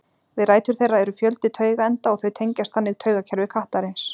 Við rætur þeirra eru fjöldi taugaenda og þau tengjast þannig taugakerfi kattarins.